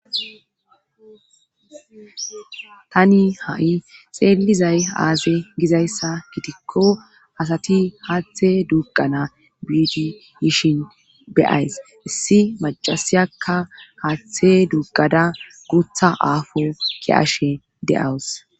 Tani ha7i xeelizay aaze gizayssa gitikko asati haathe dugqana biidi yishin beyays issi macasiyakka haaththe duggada gutha aafo ki ashe de7awus.